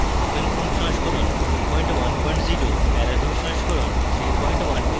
openfoam সংস্করণ 210 এবং paraview সংস্করণ 3120